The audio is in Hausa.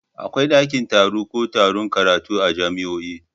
Akwai dakin taro ko taron karatu a jami'o'i.